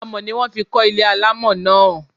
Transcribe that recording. Amọ̀ ni wón fi kọ́ ilé alámọ̀ náà.